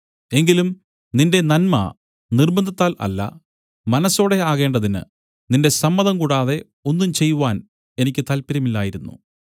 എങ്കിലും നിന്റെ നന്മ നിർബ്ബന്ധത്താൽ അല്ല മനസ്സോടെ ആകേണ്ടതിന് നിന്റെ സമ്മതം കൂടാതെ ഒന്നും ചെയ്യുവാൻ എനിക്ക് താല്പര്യമില്ലായിരുന്നു